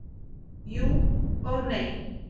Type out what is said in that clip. Jú, og nei.